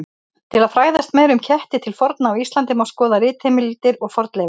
Til að fræðast meira um ketti til forna á Íslandi má skoða ritheimildir og fornleifar.